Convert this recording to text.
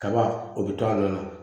Kaba o bɛ to a nɔ na